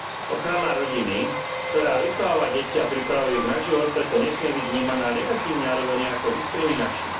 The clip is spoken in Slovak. Ochrana rodiny, ktorá vychováva deti a pripravuje ich na život, preto nesmie byť vnímaná negatívne alebo nejako diskriminačne.